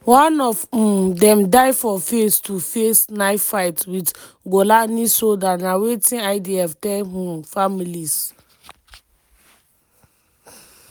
one of um dem die for face-to-face knife fight with golani soldier na wetin idf tell um families.